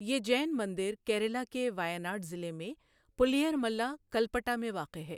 یہ جین مندر کیرلا کے ویاناڈ ضلع میں پُلیئرملا، کلپٹا میں واقع ہے۔